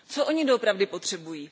Co oni doopravdy potřebují?